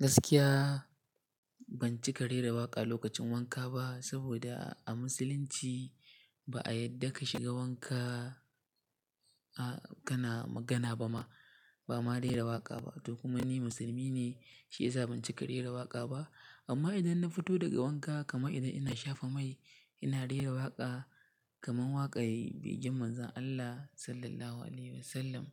Gaskiya ban cika rera waƙa lokacin wanka ba saboda a musulunci ba a yadda ka shiga wanka a kana magana ba ma, ba ma rera waƙa ba. Toh kuma ni musulmi ne shiyasa ban cika rera waƙa ba. Amma idan na fito daga wanka kamar idan ina shafa mai ina rera waƙa kamar waƙar begen Manzon Allah Sallallahu Alaihi Wasallam.